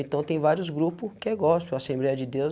Então, tem vários grupo que é gospel, a Assembleia de Deus,